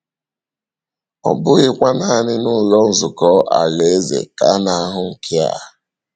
Ọ bụghịkwa nanị n’Ụlọ Nzukọ Alaeze ka a na-ahụ nke a.